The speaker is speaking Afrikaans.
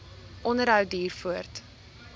onderhou duur voort